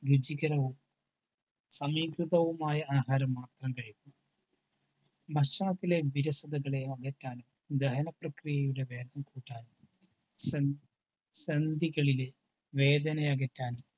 രുചികരവും സമീകൃതവുമായ ആഹാരം മാത്രം കഴിക്കുക. ഭക്ഷണത്തിലെ വിരസതകളെ അകറ്റാനും ദഹന പ്രക്രിയകളിലെ വേദന അകറ്റാനും സന്ധികളിലെ വേദന അകറ്റാനും